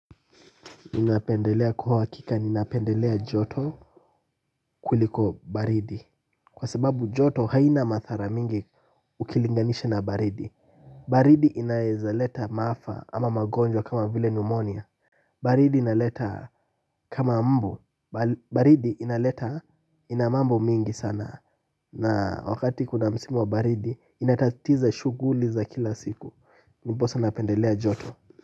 Ninapendelea kwa hakika ninapendelea joto kuliko baridi. Kwa sababu joto haina madhara mingi ukilinganisha na baridi. Baridi inaezaleta maafa ama magonjwa kama vile pneumonia, baridi inaleta kama mbu, baridi inaleta inamambo mingi sana. Na wakati kuna msimu wa baridi inatatiza shughuli za kila siku ndiposa napendelea joto.